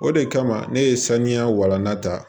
O de kama ne ye saniya walanda